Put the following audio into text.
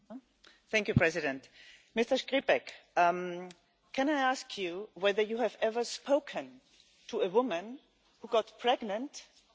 Mr Škripek, can I ask you whether you have ever spoken to a woman who got pregnant, even though she did not want to?